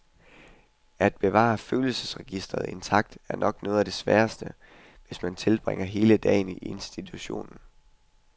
At bevare et følelsesregister intakt er nok noget af det sværeste, hvis man tilbringer hele dagen i institution.